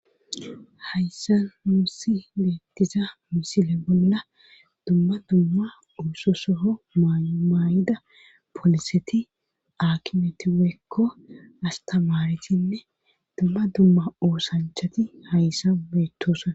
Hayssa nuusi beettiza misile bolla dumma dumma ooso sohon mayo maayida poliseti akimeti woyikko astamaaretinne dumma dumma oosanchati hayssa beettoskna.